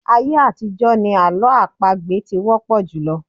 Ayé àtijọ́ ni àlọ́ àpagbè ti wọ́pọ̀ jùlọ.